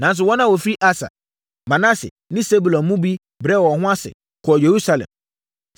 Nanso, wɔn a wɔfiri Aser, Manase ne Sebulon mu bi brɛɛ wɔn ho ase, kɔɔ Yerusalem.